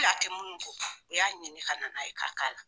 kɛ minnu kɔkan o y'a ɲini ka na n'a ye ka k'a la.